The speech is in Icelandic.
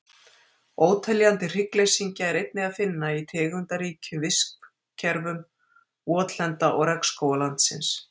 Óteljandi hryggleysingja er einnig að finna í tegundaríkum vistkerfum votlenda og regnskóga landsins.